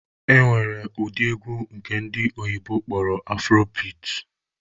E nwere ụdị egwu nke ndị oyibo kpọrọ 'afrobeat'